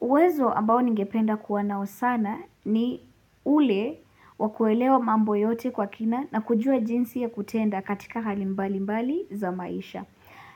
Uwezo ambao ningependa kuwa nao sana ni ule wa kuelewa mambo yote kwa kina na kujua jinsi ya kutenda katika hali mbali mbali za maisha.